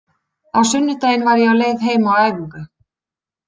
Á sunnudaginn var ég á leið heim af æfingu.